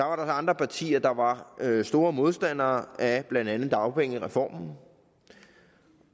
var der andre partier der var store modstandere af blandt andet dagpengereformen